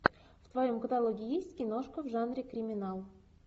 в твоем каталоге есть киношка в жанре криминал